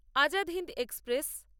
Azad Hind express